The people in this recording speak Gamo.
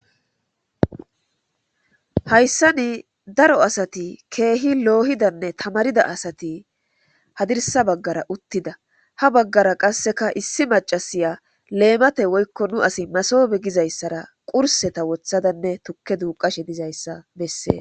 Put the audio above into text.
hayssa nii daro asati keehi loohidanne tamarida asati hadirsa baggara uttida ha baggara qasseka issi macasiya leemate woykko nu asi masobe gizayssara qurseta wothadanne tukke duuqashe dizayssa bessee